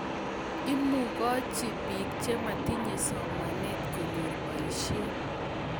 Imukochi bik chematinye somanet konyor boisioshek